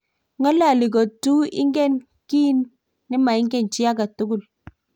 ng'ololi ko tu ingen kiy ni maingen chii age tugul